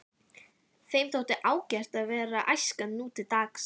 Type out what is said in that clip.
Þeim þótti ágætt að vera æskan nútildags.